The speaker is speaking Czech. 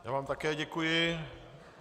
Já vám také děkuji.